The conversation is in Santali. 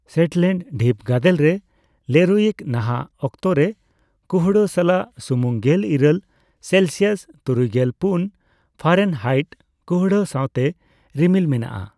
ᱥᱮᱴᱞᱮᱱᱰ ᱰᱷᱤᱯ ᱜᱟᱫᱮᱞ ᱨᱮ ᱞᱮᱨᱩᱭᱤᱠ ᱱᱟᱦᱟᱜ ᱚᱠᱛᱚ ᱨᱮ ᱠᱩᱦᱲᱟᱹ ᱥᱟᱞᱟᱜ ᱥᱩᱢᱩᱝ ᱜᱮᱞ ᱤᱨᱟᱹᱞ ᱥᱮᱞᱥᱤᱭᱟᱥ ᱛᱩᱨᱩᱭᱜᱮᱞ ᱯᱩᱱ ᱯᱷᱟᱨᱮᱱᱦᱟᱭᱤᱴ ᱠᱩᱲᱦᱟᱹ ᱥᱟᱸᱣᱛᱮ ᱨᱤᱢᱤᱞ ᱢᱮᱱᱟᱜᱼᱟ ᱾